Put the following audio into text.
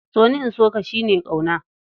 So ni, in so ka shi ne ƙauna.